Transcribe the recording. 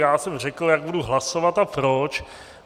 Já jsem řekl, jak budu hlasovat a proč.